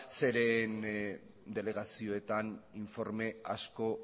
zeren delegazioetan informe asko